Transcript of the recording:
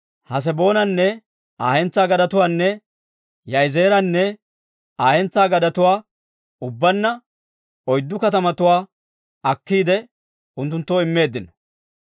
Haseboonanne Aa hentsaa gadetuwaanne Yaa'izeeranne Aa hentsaa gadetuwaa, ubbaanna oyddu katamatuwaa akkiide, unttunttoo immeeddino.